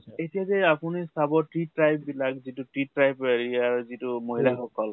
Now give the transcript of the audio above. এতিয়া যে আপুনি চাব tea tribe বিলাক যিটো tea tribe হেৰিয়াৰ যিটো মহিলা সকল